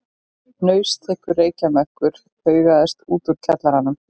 Hnausþykkur reykjarmökkur haugaðist út úr kjallaranum.